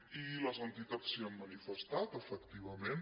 i les entitats s’hi han manifestat efectivament